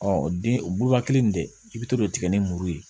den o buluba kelen in tɛ i bɛ to k'o tigɛ ni muru ye